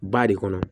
Ba de kɔnɔ